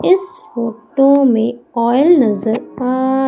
इस फोटो में ऑईल नजर आ--